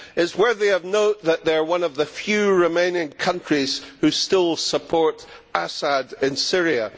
It is worthy of note that they are one of the few remaining countries who still support Assad in Syria.